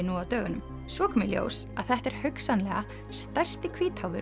nú á dögunum svo kom í ljós að þetta er hugsanlega stærsti